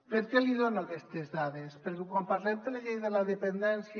per què li dono aquestes dades perquè quan parlem de la llei de la dependència